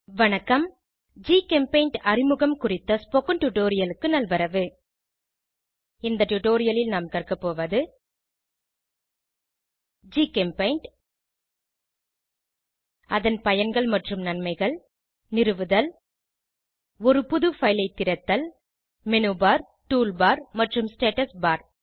வணக்கம் ஜிகெம்பெய்ண்ட் அறிமுகம் குறித்த டுடோரியலுக்கு நல்வரவு இந்த டுடோரியலில் நாம் கற்கபோவது ஜிகெம்பெய்ண்ட் அதன் பயன்கள் மற்றும் நன்மைகள் நிறுவுதல் ஒரு புது பைல் ஐ திறத்தல் மெனுபர் டூல்பார் மற்றும் ஸ்டேட்டஸ் பார்